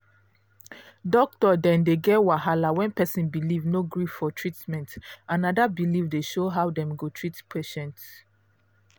doctor dey dey get wahala when person belief no gree for treatment and na that belief dey show how dem go treat patient